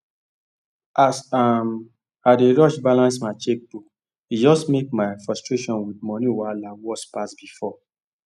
as um i dey rush balance my checkbook e just make my frustration with money wahala worse pass before